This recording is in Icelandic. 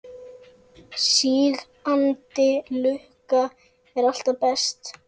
Sígandi lukka er alltaf best.